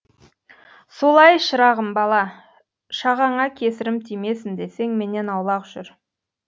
солай шырағым бала шағаңа кесірім тимесін десең менен аулақ жүр